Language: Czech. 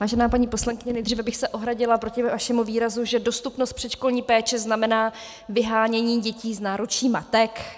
Vážená paní poslankyně, nejdříve bych se ohradila proti vašemu výrazu, že dostupnost předškolní péče znamená vyhánění dětí z náručí matek.